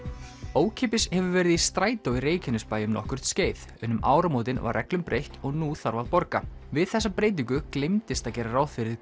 ókeypis hefur verið í strætó í Reykjanesbæ um nokkurt skeið en um áramótin var reglum breytt og nú þarf að borga við þessa breytingu gleymdist að gera ráð fyrir